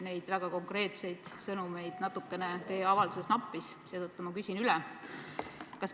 Neid väga konkreetseid sõnumeid teie avalduses natukene nappis, seetõttu ma küsin üle.